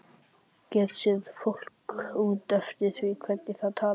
Get séð fólk út eftir því hvernig það talar.